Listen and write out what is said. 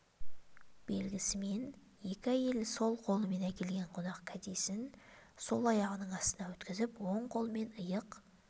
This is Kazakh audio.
белгісімен екі әйел сол қолымен әкелген қонақ кәдесін сол аяғының астынан өткізіп оң қолымен иық